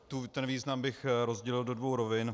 Ten význam bych rozdělil do dvou rovin.